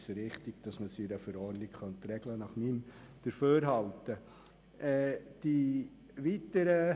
Nach meinem Dafürhalten ist es grundsätzlich richtig, das in einer Verordnung zu regeln.